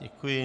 Děkuji.